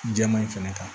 Jɛman in fɛnɛ kan